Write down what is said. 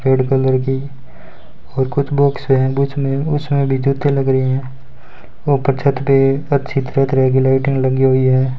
Red colour की और box हैं उसमें भी जूते लग रहे हैं ऊपर छत पे अच्छी तरह तरह की लाइटें लगी हुई है।